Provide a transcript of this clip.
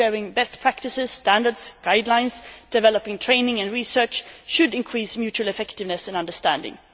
sharing best practices, standards, guidelines, developing training and research should increase mutual effectiveness and understanding.